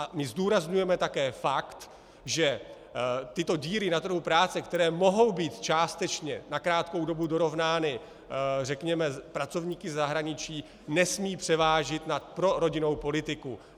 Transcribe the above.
A my zdůrazňujeme také fakt, že tyto díry na trhu práce, které mohou být částečně na krátkou dobu dorovnány, řekněme, pracovníky ze zahraničí, nesmějí převážit nad prorodinnou politikou.